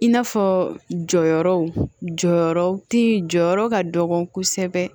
In n'a fɔ jɔyɔrɔ jɔyɔrɔ ti jɔyɔrɔ ka dɔgɔ kosɛbɛ